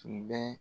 Tun bɛ